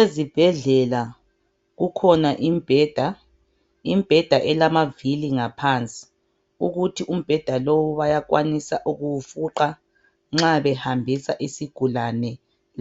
Ezibhedlela kukhona imibheda, imibheda elamavili ngaphansi ukuthi umbheda lowu bayakwanisa ukuwufuqa nxa behambisa isigulane